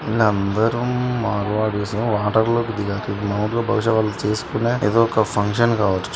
వీళ్ళందరుమ్ Marwadis. Water లోకి దిగా బహుశా వాళ్ళు చేసుకునే ఇది ఒక ఫంక్షన్ కావచ్చు.